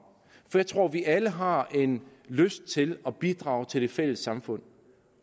jeg tror vi alle har lyst til at bidrage til det fælles samfund